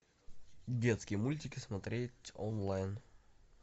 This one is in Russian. детские мультики смотреть онлайн